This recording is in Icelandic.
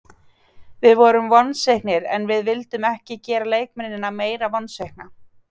Við vorum vonsviknir en við vildum ekki gera leikmennina meira vonsvikna.